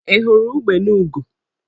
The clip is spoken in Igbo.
Ị hụrụ ugbene ugo?